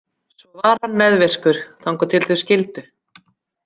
Svo var hann meðvirkur þangað til þau skildu.